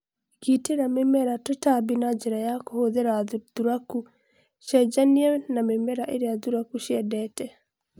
Gitĩra mĩmera tũtambi na njĩra ya kũhũthĩra Thũtaku(cenjania na mĩmera ĩrĩa thũraku ciendete)